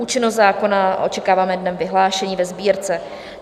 Účinnost zákona očekáváme dnem vyhlášení ve Sbírce.